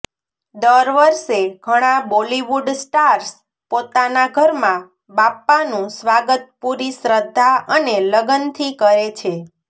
દર વર્ષે ઘણા બોલિવુડ સ્ટાર્સ પોતાના ઘરમાં બાપ્પાનું સ્વાગત પૂરી શ્રદ્ધા અને લગનથી કરે છે